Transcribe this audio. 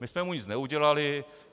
My jsme mu nic neudělali.